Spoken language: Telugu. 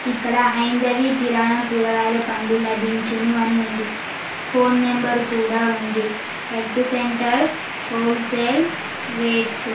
ఇక్కడ హైందవి కిరాణం కూరగాయల పండ్లు లభించును అని ఉంది ఫోన్ నెంబరు కూడా ఉంది ఎగ్స్ సెంటర్ హోల్సేల్ రేట్స్ .